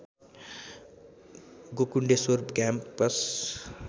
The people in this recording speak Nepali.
गोकुण्डेश्वर क्याम्पस